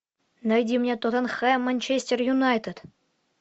найди мне тоттенхэм манчестер юнайтед